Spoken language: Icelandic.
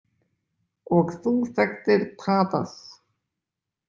Og þú þekktir Tadas.